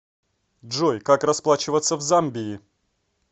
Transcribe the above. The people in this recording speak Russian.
джой как расплачиваться в замбии